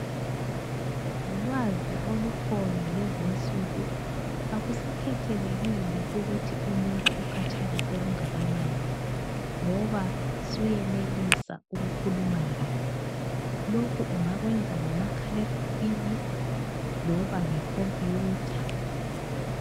Ngolwazi olukhona lezinsuku, akusakhethelekile ukuthi umuntu ukhatshana okungakanani ngoba suyenelisa ukukhuluma laye. Lokhu ungakwenza ngomakhalekhukhwini loba ngekhompiyutha.